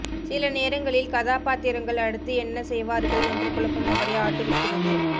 சில நேரங்களில் கதாபாத்திரங்கள் அடுத்து என்ன செய்வார்கள் என்ற குழப்பம் அவரை ஆட்டுவிக்கிறது